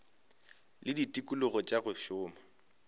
le ditikologo tša go šoma